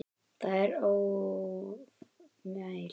Það er ofmælt.